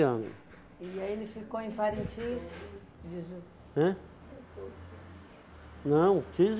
ano. E aí ele ficou em Parintins Hã? Não, quinze